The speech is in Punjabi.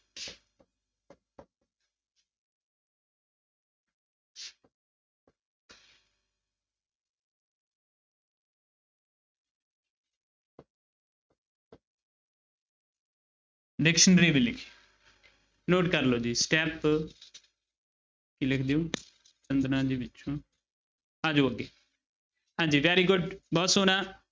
Dictionary ਵੀ ਲਿਖੀ note ਕਰ ਲਓ ਜੀ step ਕੀ ਲਿਖਦੇ ਹੋ ਦੇ ਵਿੱਚੋਂ ਆ ਜਾਓ ਅੱਗੇ ਹਾਂਜੀ very good ਬਹੁਤ ਸੋਹਣਾ।